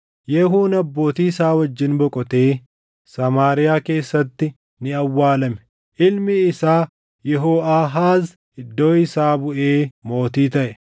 Yehuun abbootii isaa wajjin boqotee Samaariyaa keessatti ni awwaalame. Ilmi isaa Yehooʼaahaaz iddoo isaa buʼee mootii taʼe.